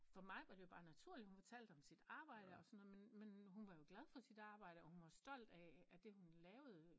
For mig var det jo bare naturligt at hun fortalte om sit arbejde og sådan noget men men hun var jo glad for sit arbejde og hun var stolt af at der hun lavede